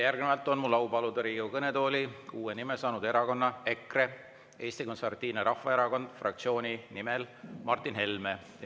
Järgnevalt on mul au paluda Riigikogu kõnetooli uue nime saanud erakonna EKRE – Eesti Konservatiivse Rahvaerakonna fraktsiooni nimel kõnelema Martin Helme.